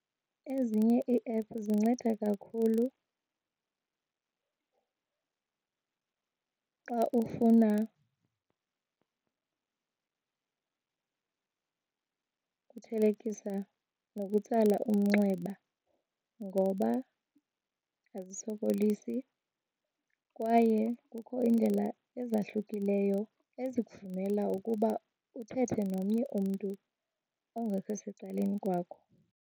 Ezinye iiephu zinceda kakhulu xa ufuna uthelekisa nokutsala umnxeba ngoba azisokolisi kwaye kukho iindlela ezahlukileyo ezikuvumela ukuba uthethe nomnye umntu ongekho secaleni kwakho.